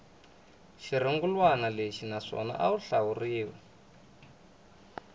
xirungulwana lexi naswona wu ahluriwe